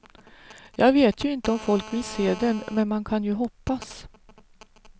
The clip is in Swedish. Jag vet ju inte om folk vill se den, men man kan ju hoppas.